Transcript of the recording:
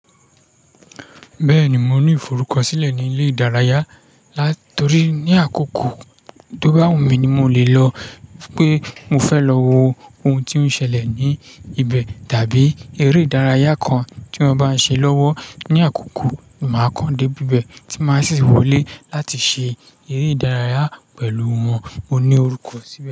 Bẹ́ẹ̀ni, mo ní ìforúkọ̀sílẹ̀ ní ilé ìdárayá. Látọ̀rí ní àkókò tó bá wù mí ní mo lè lọ, pé mo fẹ́ lọ wo ohun tí ó ń ṣẹlẹ̀ ní ibẹ̀, tàbí eré ìdárayá kan tí wọ́n bá ń ṣe lọ́wọ́ ní àkókò, màá kán dé bíbẹ̀ tí màá sì wọlé láti ṣe eré ìdárayá pẹ̀lú wọ́n. Mo ní orúkọ̀ síbẹ̀